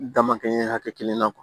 Dama kɛ hakɛ kelen na